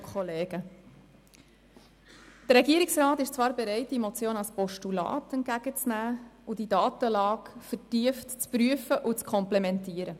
Der Regierungsrat ist zwar bereit, diese Motion als Postulat entgegenzunehmen, die Datenlage vertieft zu prüfen und zu komplettieren.